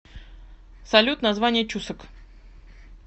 салют название чусок